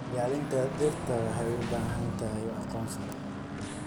Ilaalinta dhirta waxay u baahan tahay aqoon sare.